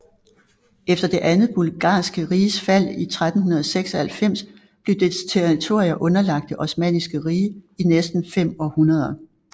Efter det andet Bulgarske Riges fald i 1396 blev dets territorier underlagt det Osmanniske Rige i næsten fem århundreder